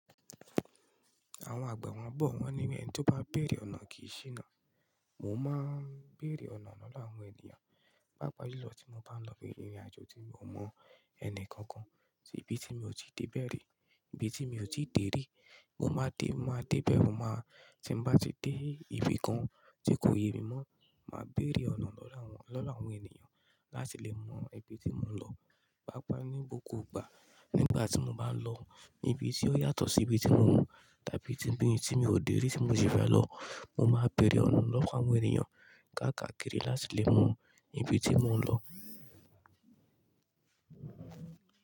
Àwọn àgbà wọn bọ̀, wọ́n ní ẹni tó bá béèrè ọ̀nà kì í ṣíná. Mo máa ń béèrè ọ̀nà lọ́wọ́ àwọn ènìyàn, pàápàá julọ̀ tí mo bá ń lọ bi ìrìnàjò tí mo mọ ẹni kankan, tí ibi tí mi ò tí ì dé béèrè, ibi tí mi ò tí ì dèrí. Mo máa dé, mo máa dé bẹ́rẹ́, mo máa tí bá ti dé ibi kan tí kò yẹ mi mọ́, màá béèrè ọ̀nà lọ́wọ́ àwọn, lọ́wọ́ àwọn ènìyàn láti lè mọ ibi tí mò ń lọ. Pàápàá ní gbogbo ìgbà, nígbà tí mo bá ń lọ ibi tí ó yàtọ̀ sí ibi tí mo wù, tàbí ibi tí mi ò dèrí tí mo sì fẹ́ lọ, mo máa béèrè ọ̀nà lọ́wọ́ àwọn ènìyàn káàkiri láti lè mọ ibi tí mò ń lọ.